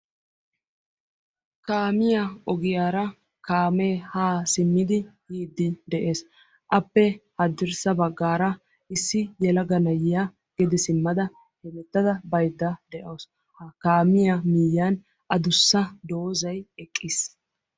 Kaamiya ogiyaara kaamee haa simmidi yiiddi de"es. Appe haddirssa baggaara issi yelaga na"iya gede simmada hemettada baydda de"awus. Ha kaamiya miyyiyan adussa doozay eqqis.